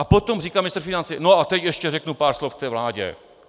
A potom říká ministr financí, no a teď ještě řeknu pár slov k té vládě.